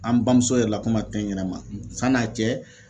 An bamuso yɛrɛ la ko ma kɛ n yɛrɛ ma san'a cɛ